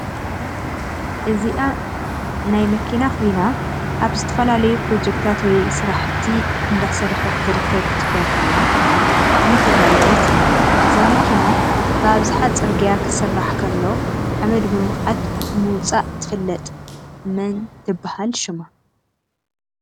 እዘኣ ናይ መኪና ኮይና ኣብ ዝተፈላላዩ ፕሮሸክታት ወይ ስረፋሓቲ እዳሰርሕት ትርከብ ክትኮን ከላ ብጠዓም ተዳላይ እያ እዛ ማኪና ብኣብዛሓ ፅርግያ ክስራሕ ከሎ ሓምድ ብምክዓት ብምውፃእ ትፍለጥ መን ትበሃል ሽማ?